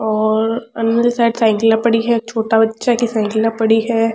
और अली साइड साइकिलाँ पड़ी है एक छोटे बच्चा की साइकिला पड़ी है।